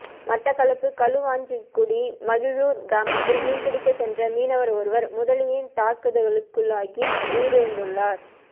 மட்டக்களப்பு களுவாஞ்சிகுடி மகிழுர் கிராமத்தில் மீன்பிடிக்க சென்ற மீனவர் ஒருவர் முதலையின் தாக்குதலுக்குள்ளாகி உயிரிழந்துள்ளார்